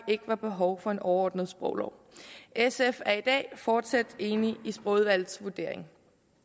ikke er behov for en overordnet sproglov i danmark sf er i dag fortsat enig i sprogudvalgets vurdering